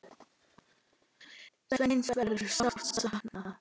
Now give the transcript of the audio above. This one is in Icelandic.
Sveins verður sárt saknað.